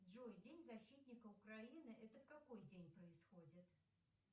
джой день защитника украины это в какой день происходит